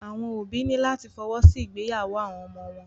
Àwọn òbí ní láti fọwọ́ sí ìgbéyàwó àwọn ọmọ wọn.